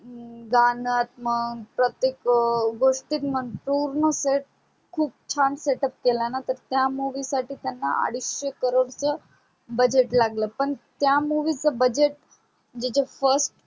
गाण्यात मन प्रतेक गोष्टी मन पूर्ण set खूप छान setup केलाणा तर त्या movie साठी त्यांना अडीशे crore च budget लागल पण त्या movie च budget जे च first